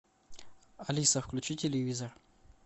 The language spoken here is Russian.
алиса включи телевизор